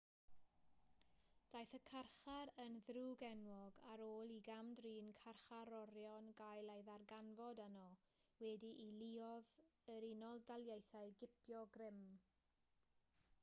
daeth y carchar yn ddrwg-enwog ar ôl i gam-drin carcharorion gael ei ddarganfod yno wedi i luoedd yr unol daleithiau gipio grym